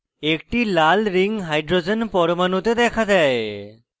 একটি লাল ring hydrogen পরমাণুতে দেখা দেয়